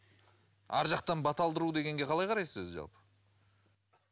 арғы жақтан бата алдыру дегенге қалай қарайсыз өзі жалпы